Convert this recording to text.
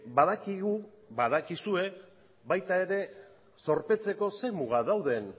badakigu badakizue baita ere zorpetzeko ze mugak dauden